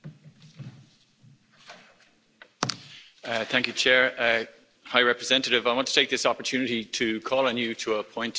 Madam President, High Representative, I want to take this opportunity to call on you to appoint a Special Representative to the Syrian conflict.